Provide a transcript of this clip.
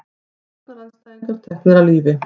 Stjórnarandstæðingar teknir af lífi